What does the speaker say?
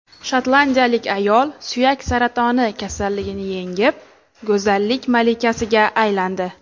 Shotlandiyalik ayol suyak saratoni kasalligini yengib, go‘zallik malikasiga aylandi.